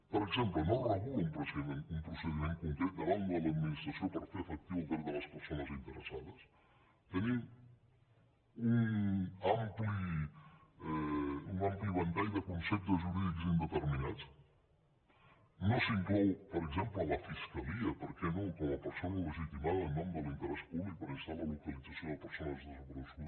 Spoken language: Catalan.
per exemple no es regula un procediment concret davant de l’administració per fer efectiu el dret de les persones interessades tenim un ampli ventall de conceptes jurídics indeterminats no s’inclou per exemple la fiscalia per què no com a persona legitimada en nom de l’interès públic per instar la localització de persones desaparegudes